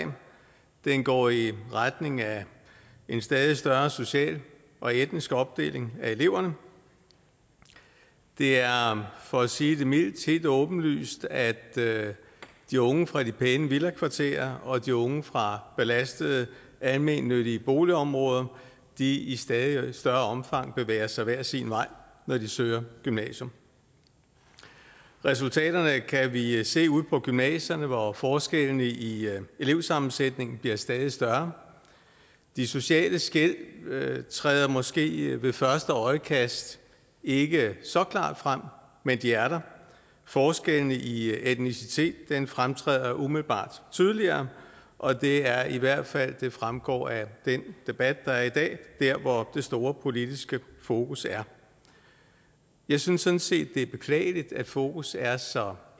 den går i retning af en stadig større social og etnisk opdeling af eleverne det er for at sige det mildt helt åbenlyst at de unge fra de pæne villakvarterer og de unge fra belastede almennyttige boligområder i i stadig større omfang bevæger sig hver sin vej når de søger gymnasium resultaterne kan vi se ude på gymnasierne hvor forskellene i elevsammensætningen bliver stadig større de sociale skel træder måske ved første øjekast ikke så klart frem men de er der forskellene i etnicitet fremtræder umiddelbart tydeligere og det er i hvert fald det fremgår af den debat der er i dag der hvor det store politiske fokus er jeg synes sådan set det er beklageligt at fokus er så